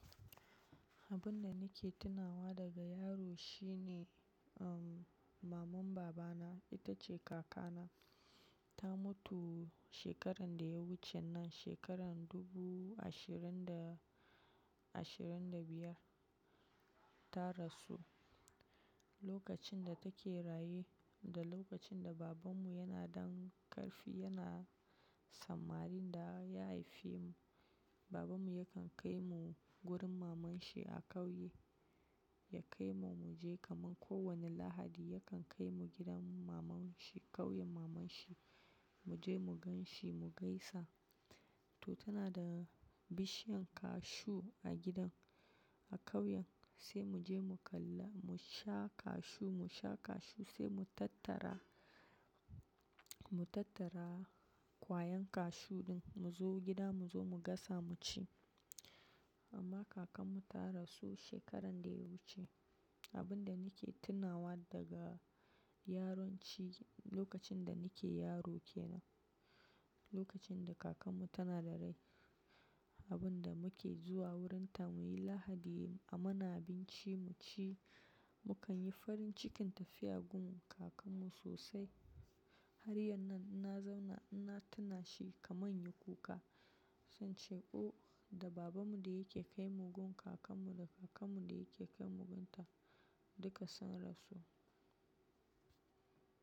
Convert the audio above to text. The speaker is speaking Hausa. Abun da nake tunawa daga yaro shine, uhm, maman babana, ita ce kakana. Ta mutu shekarar da ya wuce nan, shekarar dubu ashirin da, ashirin da biyar. Ta rasu lokacin da take raye, da lokacin da babanmu yana dan ƙarfi, yana sammarin da ya haife mu. Babanmu yakan kai mu wurin maman shi a ƙauye. Ya kai mu, mu je kaman kowane Lahadi yakan kai mu gidan maman shi, ƙauyen maman shi. Mu je mu gan shi mu gaisa. To, tana da bishiyan cashew a gidan, a ƙauyen. Sai mu je mu kalla, mu sha cashew, mu sha cashew sai mu tattara, mu tattara kwayan cashew ɗin mu zo gida mu zo mu gasa mu ci. Amma kakan mu ta rasu shekarar da ya wuce. Abin da nake tunawa daga yaranci, lokacin da nake yaro ke nan, lokacin da kakan mu tana da rai, abin da muke zuwa wurin ta mu yi Lahadi a mana abinci mu ci, mu kan yi farin cikin tafiya gun kakan mu sosai. Har yanzu ina zauna, ina tuna shi kaman ya kuka. Zan ce, "O da baban mu da yake kai mu gun kakan mu, da kakan mu da yake kai mu gun ta, duka sun rasu."